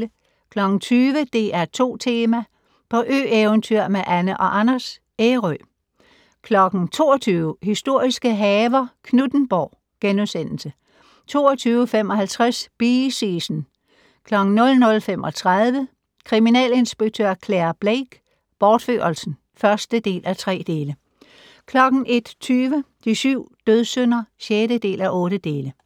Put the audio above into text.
20:00: DR2 Tema: På ø-eventyr med Anne & Anders - Ærø 22:00: Historiske haver - Knuthenborg * 22:55: Bee Season 00:35: Kriminalinspektør Clare Blake: Bortførelsen (1:3) 01:20: De syv dødssynder (6:8)